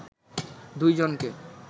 দুই জনকে